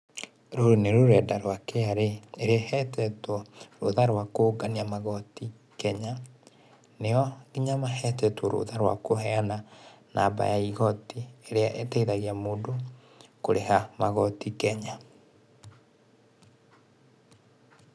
Rũrũ nĩ rũrenda rwa KRA, ĩrĩa ĩhetwo rũtha rwa kũngania magoti Kenya. Nĩo nginya mahetwo rũtha rwa kũheana namba ya igoti ĩrĩa ĩteithagia mũndũ kũrĩha magoti Kenya.